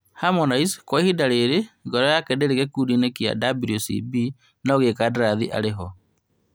Harmonize kwa ihinda rĩrĩ ngoro yake ndĩrĩ gĩkundi-inĩ kĩa WCB, no gĩkandarathi arĩ ho